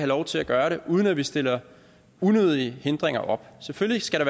lov til at gøre det uden at vi stille unødige hindringer op selvfølgelig skal